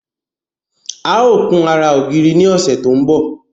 A ó kun ara ògiri ní ọ̀sẹ̀ tí ó ń bọ̀